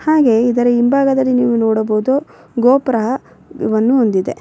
ಹಾಗೆ ಇದರ ಹಿಂಭಾಗದಲ್ಲಿ ನಿವು ನೋಡಬಹುದು ಗೋಪುರ ಅನ್ನು ಹೊಂದಿದೆ.